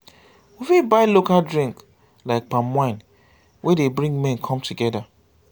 we fit buy local drink like palm wine wey dey bring men come together